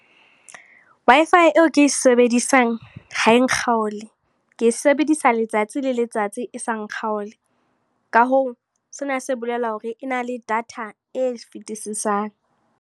Wi-Fi eo ke e sebedisang, ha e nkgaole. Ke e sebedisa letsatsi le letsatsi e sa nkgaole. Ka hoo, sena se bolela hore e na le data e fetisisang.